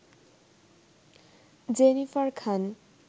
Jennifer Khan